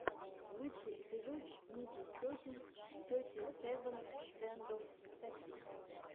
лучший эпизод ники сетин сети севен стэндофф сэконд